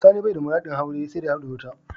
Sani baya da muradin aure saida ya hadu da wata.